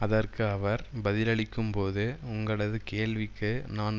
அதற்கு அவர் பதிலளிக்கும்போது உங்களது கேள்விக்கு நான்